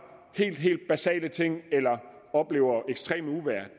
helt basale ting eller oplever ekstreme uvejr